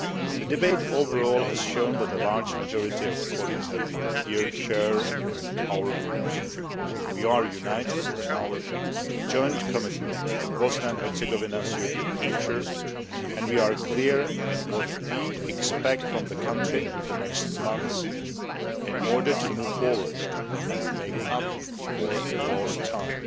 The debate overall has shown that a large majority of colleagues here share our views. We are united in our joint commitment to Bosnia and Herzegovina's European future and we are clear in what we expect from the country in the next months in order to move forward and make up for lost time.